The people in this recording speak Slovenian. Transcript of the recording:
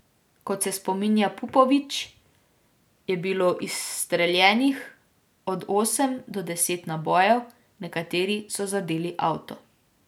Kot se spominja Pupović, je bilo izstreljenih od osem do deset nabojev, nekateri so zadeli avto.